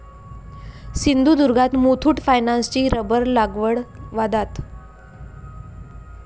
सिंधुदुर्गात मुथूट फायनान्सची रबर लागवड वादात!